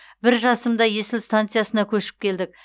бір жасымда есіл станциясына көшіп келдік